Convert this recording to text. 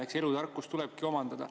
Eks elutarkust tulebki omandada.